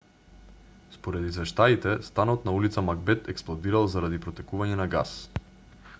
според извештаите станот на ул магбет експлодирал заради протекување на гас